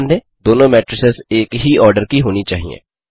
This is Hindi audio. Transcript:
ध्यान दें दोनों मेट्रिसेस एक ही ऑर्डर की होनी चाहिए